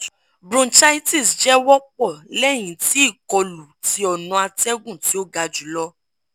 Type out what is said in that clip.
bronchitis jẹ wọpọ lẹhin ti ikolu ti ọna atẹgun ti o ga julọ (urti)